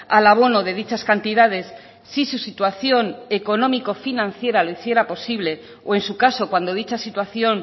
al abono de dichas cantidades si su situación económico financiera lo hiciera posible o en su caso cuando dicha situación